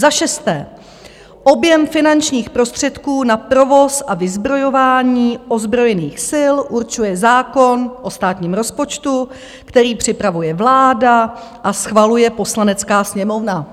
Za šesté: Objem finančních prostředků na provoz a vyzbrojování ozbrojených sil určuje zákon o státním rozpočtu, který připravuje vláda a schvaluje Poslanecká sněmovna.